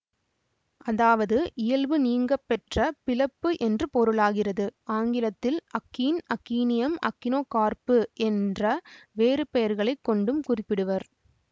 அதாவது இயல்பு நீங்கப்பெற்ற பிளப்பு என்று பொருளாகிறது ஆங்கிலத்தில் அக்கீன் அக்கீனியம் அக்கினோகார்ப்பு என்ற வேறுபெயர்களைக் கொண்டும் குறிப்பிடுவர்